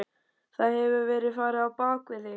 Það hefur verið farið á bak við þig.